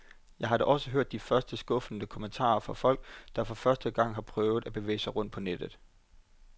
Jeg har da også hørt de første skuffede kommentarer fra folk, der for første gang har prøvet at bevæge sig rundt på nettet.